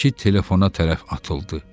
ki telefona tərəf atıldı.